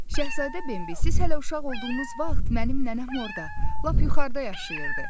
Şahzadə Bembi, siz hələ uşaq olduğunuz vaxt mənim nənəm orada lap yuxarıda yaşayırdı.